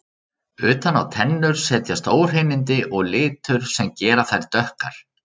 Utan á tennur setjast óhreinindi og litur sem gera þær dökkar.